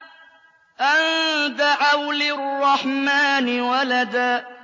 أَن دَعَوْا لِلرَّحْمَٰنِ وَلَدًا